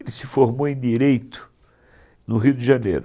Ele se formou em Direito, no Rio de Janeiro.